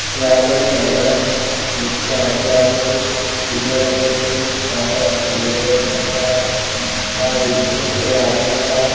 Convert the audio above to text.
यहाँ पर एक महिला है जिसके आजू - बाजू कुछ सीढ़िया बनाई गई वहाँ पर कुछ लोग बैठे नज़र आ रहे है वहाँ बीच में एक आदमी खड़ा है।